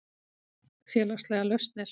Félagslegar lausnir